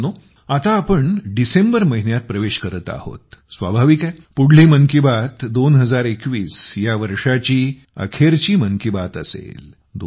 मित्रांनो आता आपण डिसेंबर महिन्यात प्रवेश करत आहोत स्वाभाविक आहे पुढली मन की बात 2021 ची यावर्षाची अखेरची मन की बात असेल